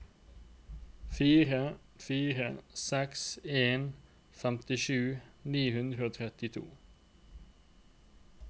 fire fire seks en femtisju ni hundre og trettito